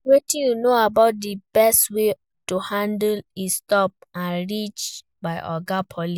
Wetin you know about di best way to handle a stop-and-search by oga police?